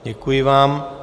Děkuji vám.